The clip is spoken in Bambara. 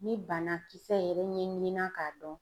Ni banakisɛ yɛrɛ ɲɛɲinan k'a dɔn